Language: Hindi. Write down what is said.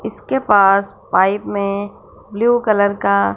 इसके पास पाइप में ब्लू कलर का--